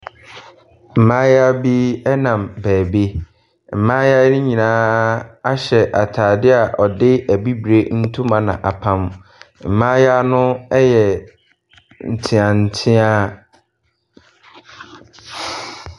Mmaayewa bi ɛnam baabi. Mmaayewa yi nyinaa ahyɛ ataadeɛ a yɛde abibirem ntoma n'apam. Mmaayewa no yɛ nteatea.